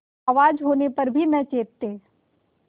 आवाज होने पर भी न चेतते